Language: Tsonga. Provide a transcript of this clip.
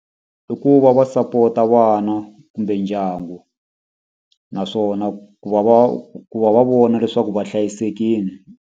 I ku va va sapota vana kumbe ndyangu naswona ku va va ku va va vona leswaku va hlayisekile.